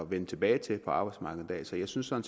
vende tilbage til på arbejdsmarkedet så jeg synes at